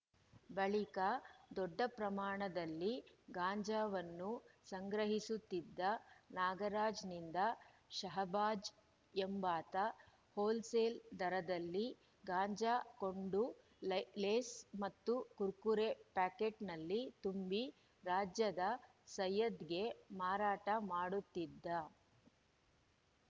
ಬಳಿಕ ದೊಡ್ಡ ಪ್ರಮಾಣದಲ್ಲಿ ಗಾಂಜಾವನ್ನು ಸಂಗ್ರಹಿಸುತ್ತಿದ್ದ ನಾಗರಾಜ್‌ನಿಂದ ಷಹಬಾಜ್‌ ಎಂಬಾತ ಹೋಲ್‌ಸೇಲ್‌ ದರದಲ್ಲಿ ಗಾಂಜಾ ಕೊಂಡು ಲೇಸ್‌ ಮತ್ತು ಕುರ್ಕುರೆ ಪ್ಯಾಕೆಟ್‌ನಲ್ಲಿ ತುಂಬಿ ರಾಜ್ಯದ ಸಯ್ಯದ್‌ಗೆ ಮಾರಾಟ ಮಾಡುತ್ತಿದ್ದ